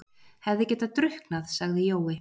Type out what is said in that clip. Hefði getað drukknað, sagði Jói.